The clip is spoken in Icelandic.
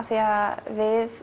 því að við